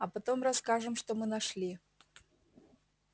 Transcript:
а потом расскажем что мы нашли